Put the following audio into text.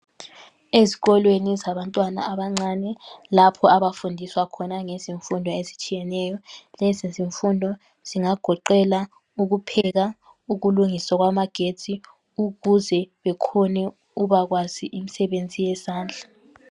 Ezikolweni zabantwana abancane lapho abafundiswa khona ngezemfundo ezitshiyeneyo lezi zimfundo zingagoqela ukupheka ukulungisa okwamagetsi, ukuze bakhone ukuba kwazi imisebenzi yezandla.